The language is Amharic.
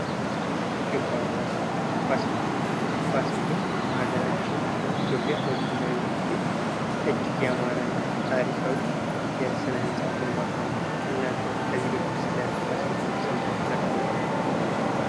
ህንፃና ግንባታ ፋሲል ግንብ ፋሲል ግንብ በሀገራችን ኢትዮጵያ በጎንደር የሚገኝ እጅግ የአማረና ታሪካዊ የስነ-ህንጻ ግንባታ ነው። እናንተ ከዚህ በፊት ስለ ፋሲል ግንብ ሰምታችሁ ታውቃላችሁ?